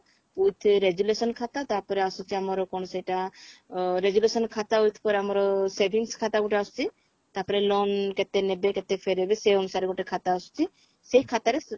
with resolution ଖାତା ତାପରେ ଆସୁଛି ଅମାର କଣ ସେଇଟା ଅ resolution ଖାତା with ପରେ ଆମର savings ଖାତା ଗୋଟେ ଆସୁଛି ତାପରେ loan କେତେ ନେବେ କେତେ ଫେରେଇବେ ସେ ଅନୁସାରେ ଗୋଟେ ଖାତା ଆସୁଛି ସେଇ ଖାତାରେ